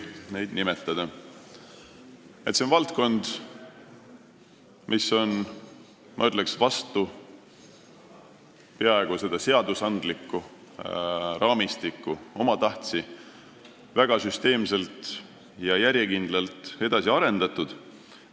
See on valdkond, mida on, ma ütleks, peaaegu selle seadusandliku raamistiku kiuste omatahtsi väga süsteemselt ja järjekindlalt edasi arendatud.